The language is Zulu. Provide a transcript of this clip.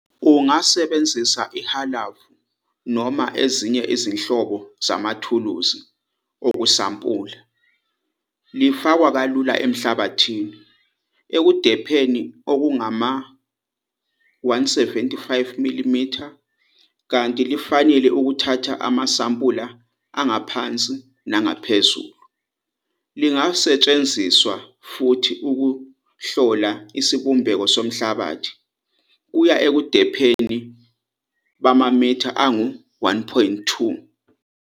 Ungasebenzisa ihalavu noma ezinye izinhlobo zamathuluzi okusampula. Lifakwa kalula emhlabathini, ebudepheni obungama-175 mm kanti lifanele ukuthatha amasampula angaphansi nangaphezulu. Lingasetshenziswa futhi ukuhlola isibumbeko somhlabathi kuya ebudepheni bamamitha angu-1,2.